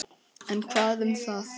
En hvað um það